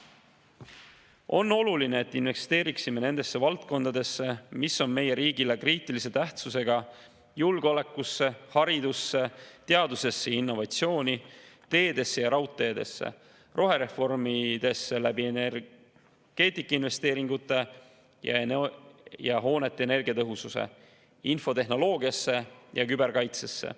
On oluline, et investeeriksime nendesse valdkondadesse, mis on meie riigile kriitilise tähtsusega: julgeolekusse, haridusse, teadusesse ja innovatsiooni, teedesse ja raudteedesse, rohereformidesse energeetikainvesteeringute ja hoonete energiatõhususe kaudu, infotehnoloogiasse ja küberkaitsesse.